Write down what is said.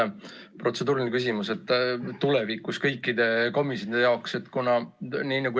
Mul on protseduuriline küsimus, millest võib tulevikus kõikidel komisjonidel kasu olla.